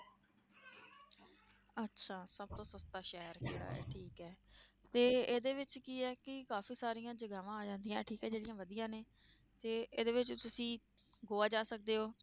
ਅੱਛਾ ਸਭ ਤੋਂ ਸਸਤਾ ਸ਼ਹਿਰ ਕਿਹੜਾ ਹੈ ਠੀਕ ਹੈ ਤੇ ਇਹਦੇ ਵਿੱਚ ਕੀ ਹੈ ਕਿ ਕਾਫ਼ੀ ਸਾਰੀਆਂ ਜਗ੍ਹਾਵਾਂ ਆ ਜਾਂਦੀਆਂ, ਠੀਕ ਆ ਜਿਹੜੀਆਂ ਵਧੀਆ ਨੇ, ਤੇ ਇਹਦੇ ਵਿੱਚ ਤੁਸੀਂ ਗੋਆ ਜਾ ਸਕਦੇ ਹੋ।